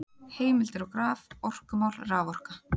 Heimildir og graf: Orkumál- Raforka.